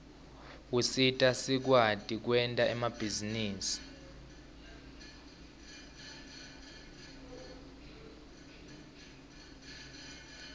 usita sikwati kwenta emabhizinisi